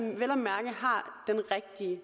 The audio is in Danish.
er